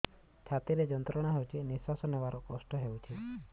ଛାତି ରେ ଯନ୍ତ୍ରଣା ହେଉଛି ନିଶ୍ଵାସ ନେବାର କଷ୍ଟ ହେଉଛି